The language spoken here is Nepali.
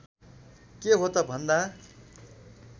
के हो त भन्दा